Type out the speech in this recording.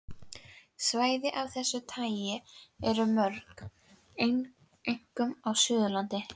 Svæði af þessu tagi eru mörg, einkum á Suðurlandi.